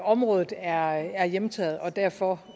området er hjemtaget og derfor